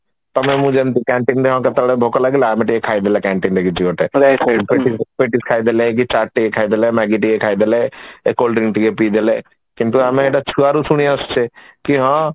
ତାପରେ ମୁଁ ଯେମିତି canteen ରେ କେତେବେଳେ କଣ ଭୋକ ଲାଗିଲା ଆମେ ଟିକେ ଖାଇଦେଲେ canteen ରେ କିଛି ଗୋଟେ ମାନେ Petis ଖାଇଦେଲେ କି ଚାଟ ଟିକେ ଖାଇଦେଲେ maggi ଟିକେ ଖାଇଦେଲେ ଏଇ cold drink ଟିକେ ପିଦେଲେ କିନ୍ତୁ ଆମେ ଏଇଟା ଛୁଆ ରୁ ଶୁଣି ଆସୁଛେ କି ହଁ